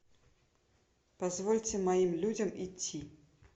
позвольте моим людям идти